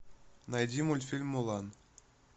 найди мультфильм мулан